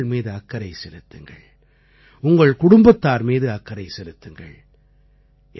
நீங்கள் உங்கள் மீது அக்கறை செலுத்துங்கள் உங்கள் குடும்பத்தார் மீது அக்கறை செலுத்துங்கள்